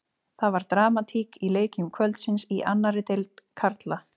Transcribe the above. Það var dramatík í leikjum kvöldsins í annarri deild karla.